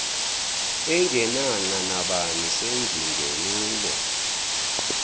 engenanxa nabani sengingenile